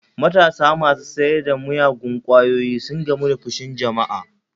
Matasa masu sayar da miyagun kwayoyi sun gamu da fushin alumma